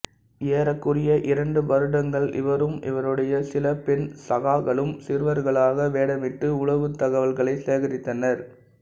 ஏறக்குறைய இரண்டு வருடங்கள் இவரும் இவருடைய சில பெண் சகாக்களும் சிறுவர்களாக வேடமிட்டு உளவுத் தகவல்களைச் சேகரித்தனர்